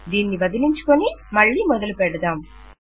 దీన్ని వదిలించుకొని మళ్ళీ మొదలు పెడదాం